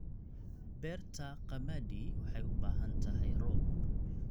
Beerta qamadi waxay u baahan tahay roob.